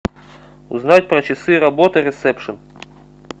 узнать про часы работы ресепшн